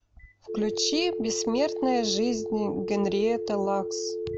включи бессмертная жизнь генриетты лакс